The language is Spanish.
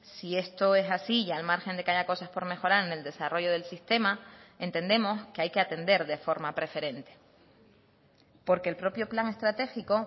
si esto es así y al margen de que haya cosas por mejorar en el desarrollo del sistema entendemos que hay que atender de forma preferente porque el propio plan estratégico